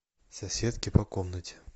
соседки по комнате